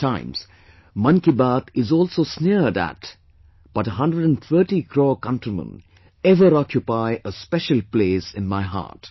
At times Mann Ki Baat is also sneered at but 130 crore countrymen ever occupy a special pleace in my heart